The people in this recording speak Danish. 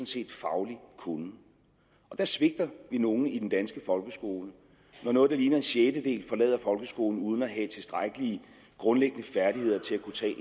set faglig kunnen og der svigter vi nogle i den danske folkeskole når noget der ligner en sjettedel forlader folkeskolen uden at have tilstrækkelige grundlæggende færdigheder til at kunne tage